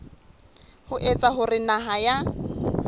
ho etsa hore naha ya